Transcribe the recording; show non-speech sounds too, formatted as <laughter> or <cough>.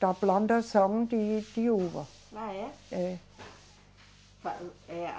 Da plantação de, de uva. Ah, é? É. <unintelligible> Eh, a